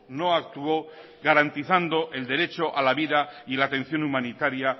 no actuó garantizando el derecho a la vida y la atención humanitaria